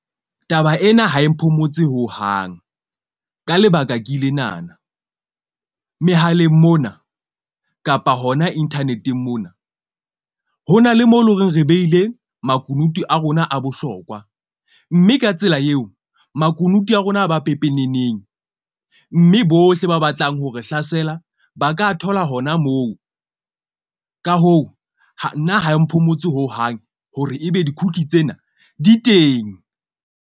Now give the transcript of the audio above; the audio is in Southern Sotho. Taba ena ha e mphomotse hohang ka lebaka ke lenana mehaleng mona kapa hona internet-eng mona. Ho na le mo e leng hore re behile makunutu a rona a bohlokwa, mme ka tsela eo makunutu a rona a ba pepeneneng. Mme bohle ba batlang ho re hlasela ba ka thola hona moo, ka hoo, nna ha e mphomotse hohang hore ebe di-cookie tsena di teng.